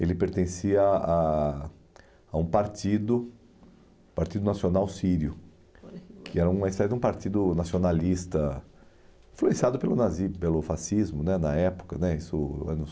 ele pertencia a a um partido, o Partido Nacional Sírio, que era uma espécie de um partido nacionalista influenciado pelo nazis, pelo fascismo né, na época né, isso anos